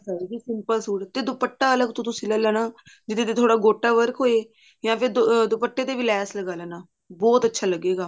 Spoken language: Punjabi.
simple ਸੂਟ ਤੇ ਦੁੱਪਟਾ ਅਲੱਗ ਤੋਂ ਤੁਸੀਂ ਲੈ ਲੈਣਾ ਜਿਹਦੇ ਤੇ ਥੋੜਾ ਗੋਟਾ work ਹੋਏ ਜਾਂ ਫਿਰ ਦੁਪੱਟੇ ਤੇ ਵੀ ਲੈਸ ਲਗਾ ਲੈਣਾ ਬਹੁਤ ਅੱਛਾ ਲੱਗੇਗਾ